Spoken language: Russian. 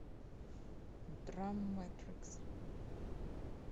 драмматикс